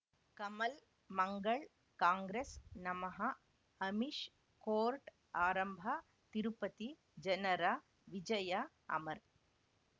ಕಮಲ್ ಮಂಗಳ್ ಕಾಂಗ್ರೆಸ್ ನಮಃ ಅಮಿಷ್ ಕೋರ್ಟ್ ಆರಂಭ ತಿರುಪತಿ ಜನರ ವಿಜಯ ಅಮರ್